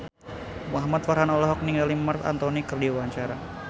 Muhamad Farhan olohok ningali Marc Anthony keur diwawancara